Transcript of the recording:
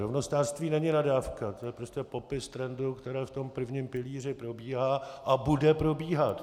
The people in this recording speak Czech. Rovnostářství není nadávka, to je prostě popis trendu, který v tom prvním pilíři probíhá a bude probíhat.